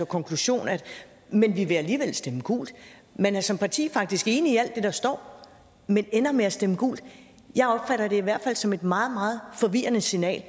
konklusion at man alligevel vil stemme gult man er som parti faktisk enig i alt det der står men ender med at stemme gult jeg opfatter det i hvert fald som et meget meget forvirrende signal